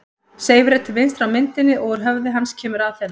Seifur er til vinstri á myndinni og úr höfði hans kemur Aþena.